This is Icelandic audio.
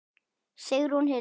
Sigrún Hildur.